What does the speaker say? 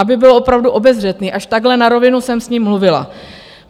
Aby byl opravdu obezřetný, až takhle na rovinu jsem s ním mluvila.